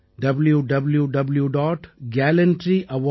gov